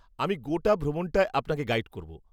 -আমি গোটা ভ্রমণটায় আপনাকে গাইড করব।